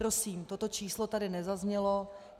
Prosím, toto číslo tady nezaznělo.